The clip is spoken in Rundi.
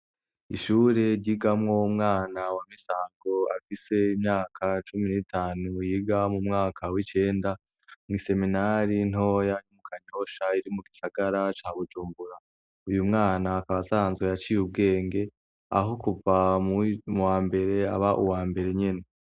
Ishure ryigamwo umwana wa Misago afise imyaka cumi n'itanu yiga mu mwaka w'icenda kw'iseminari ntoya yo mu Kanyosha iri mu gisagara ca Bujumbura uwo mwana akaba aciye ubwenge aho kuva mu wa mbere yaba uwa mbere nyene.